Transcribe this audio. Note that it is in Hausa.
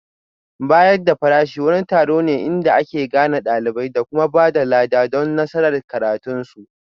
Bayar da farashi wani taron ne inda ake gane ɗalibai da kuma ba da lada don nasarar karatunsu